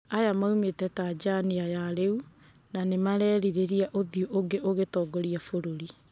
Aya mũnite Tanzania ya rĩu na nĩ marerireria uthiũ ũnge ugĩtongoria bũrũri.